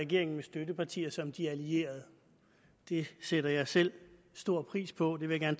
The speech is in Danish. regeringens støttepartier som de allierede det sætter jeg selv stor pris på det vil jeg